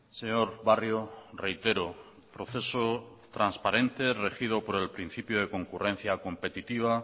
señor barrio reitero proceso transparente regido por el principio de concurrencia competitiva